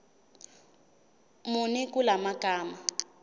muni kula magama